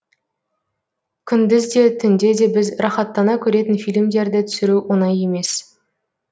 күндіз де түнде де біз рахаттана көретін фильмдерді түсіру оңай емес